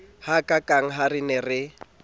hakaakang ha re ne re